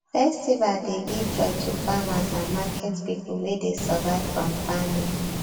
festival dey give joy to farmers and market people wey dey survive from farming